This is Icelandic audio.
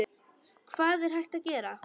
Hvað er hægt að gera?